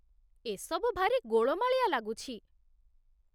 ଏସବୁ ଭାରି ଗୋଳମାଳିଆ ଲାଗୁଛି